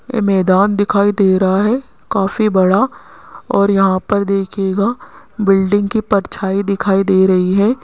ये मैदान दिखाई दे रहा है काफी बड़ा और यहां पर देखिएगा बिल्डिंग की परछाई दिखाई दे रही है।